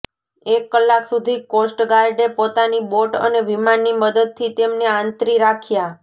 એક કલાક સુધી કોસ્ટગાર્ડે પોતાની બોટ અને વિમાનની મદદથી તેમને આંતરી રાખ્યા